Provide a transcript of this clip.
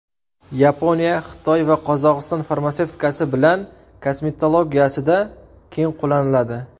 Yaponiya, Xitoy va Qozog‘iston farmatsevtikasi bilan kosmetologiyasida keng qo‘llaniladi.